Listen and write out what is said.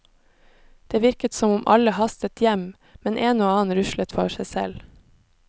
Det virket som om alle hastet hjem, men en og annen ruslet for seg selv.